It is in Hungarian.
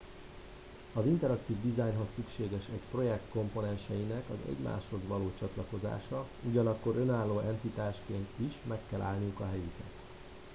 az interaktív dizájnhoz szükséges egy projekt komponenseinek az egymáshoz való csatlakozása ugyanakkor önálló entitásként is meg kell állniuk a helyüket